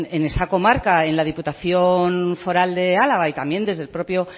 en esa comarca en la diputación foral de álava y también desde el propio